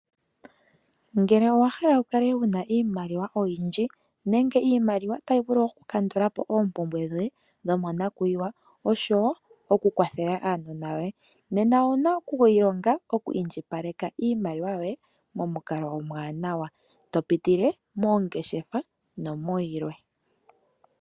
Ngele owa hala wu kale wu na iimaliwa oyindji, nenge iimaliwa tayi vulu oku kandulapo oompumbwe dhoye dhomo nakuyiwa, osho wo oku kwathela aanona yoye, nena owuna okwi ilonga oku indjipaleka iimaliwa yoye momukalo omwaanawa to pitile moongeshefa nomuyilwe.